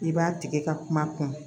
I b'a tigi ka kuma kun